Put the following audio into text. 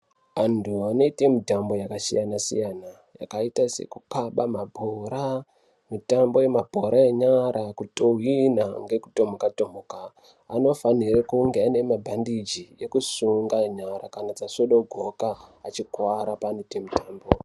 Anthu anoite mitambo yakasiyana siyana yakaite sekukaba mabhora mitambo yemabhora enyara kutuhwina nekutomuka tomuka anofanire kunge ane mabhandiji ekusunga nyara kana dzasvodogoka achikuwara paanoite mitambo.